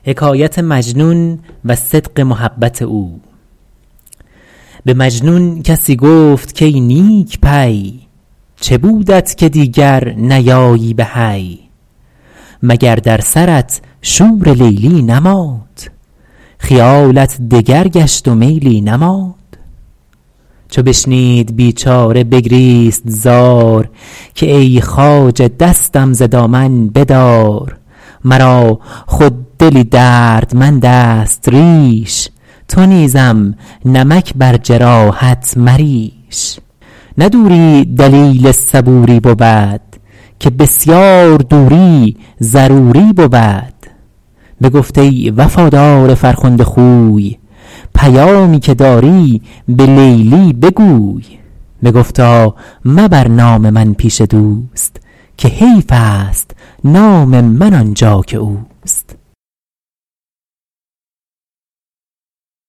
به مجنون کسی گفت کای نیک پی چه بودت که دیگر نیایی به حی مگر در سرت شور لیلی نماند خیالت دگر گشت و میلی نماند چو بشنید بیچاره بگریست زار که ای خواجه دستم ز دامن بدار مرا خود دلی دردمند است ریش تو نیزم نمک بر جراحت مریش نه دوری دلیل صبوری بود که بسیار دوری ضروری بود بگفت ای وفادار فرخنده خوی پیامی که داری به لیلی بگوی بگفتا مبر نام من پیش دوست که حیف است نام من آنجا که اوست